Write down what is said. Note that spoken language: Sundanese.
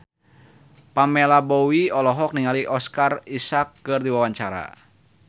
Pamela Bowie olohok ningali Oscar Isaac keur diwawancara